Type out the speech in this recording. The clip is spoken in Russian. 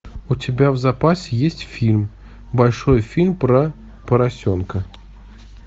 у тебя в запасе есть фильм большой фильм про поросенка